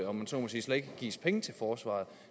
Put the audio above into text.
gives penge til forsvaret